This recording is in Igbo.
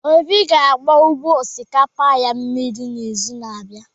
Obi ga-agba ugbo osikapa ya mmiri n'izu na-abịa.